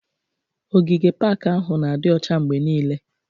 Ogige pak ahụ n'adi ọcha mgbe niile